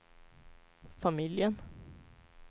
familjen